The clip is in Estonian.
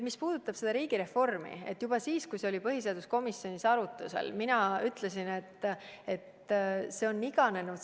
Mis puudutab riigireformi, siis juba siis, kui see oli põhiseaduskomisjonis arutusel, ma ütlesin, et see on iganenud.